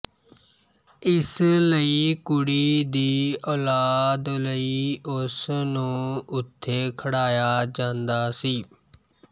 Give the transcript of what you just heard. ਇਸ ਲਈ ਕੁੜੀ ਦੀ ਔਲਾਦ ਲਈ ਉਸ ਨੂੰ ਉਥੇ ਖੜਾਇਆ ਜਾਂਦਾ ਸੀ